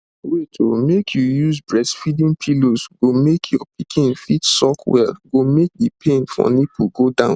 wait oh make you use breastfeeding pillows go make your pikin fit suck well go make the pain for nipple go down